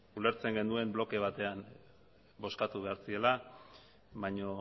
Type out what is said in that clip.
ulertzen genuen bloke batean bozkatu behar zirela baina